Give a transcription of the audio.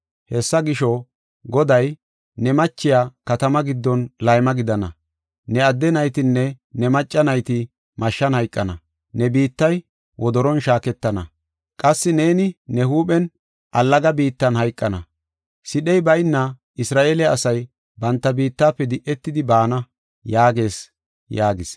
Hessa gisho, Goday, ‘Ne machiya katama giddon layma gidana; ne adde naytinne ne macca nayti mashshan hayqana. Ne biittay wodoron shaaketana; qassi neeni ne huuphen allaga biittan hayqana. Sidhey bayna Isra7eele asay banta biittafe di7etidi baana’ yaagees” yaagis.